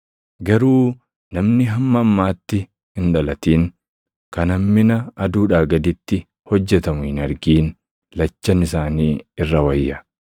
Garuu namni hamma ammaatti hin dhalatin kan hammina aduudhaa gaditti hojjetamu hin argin, lachan isaanii irra wayya.